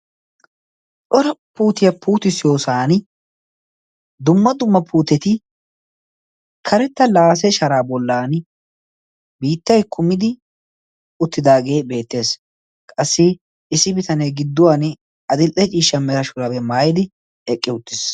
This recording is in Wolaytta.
Cora putiyaa putisiyoosan dumma dumma puteti karetta laase sharaa bollan biittai kumidi uttidaagee beettees qassi issi bitanee gidduwan adil77e ciishsha meta shurabee maayidi eqqi uttiis